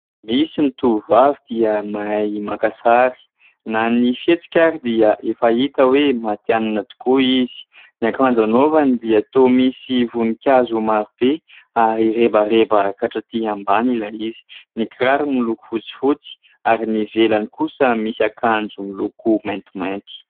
Misy ny tovovavy dia mahay maka sary na ny fihetsika ary dia efa hita hoe matihanina tokoa izy : ny akanjo anaovany dia toa misy voninkazo maro be ary rebareba ka hatraty ambany ilay izy, ny kiraro miloko fotsifotsy ary ny ivelany kosa misy akanjo miloko maintimainty.